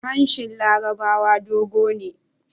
Hanshin larabawa dogo ne